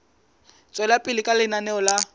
tswela pele ka lenaneo la